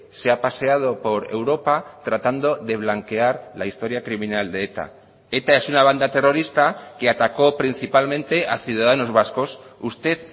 se ha paseado por europa tratando de blanquear la historia criminal de eta eta es una banda terrorista que atacó principalmente a ciudadanos vascos usted